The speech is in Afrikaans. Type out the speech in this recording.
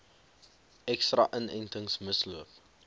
ekstra inentings misloop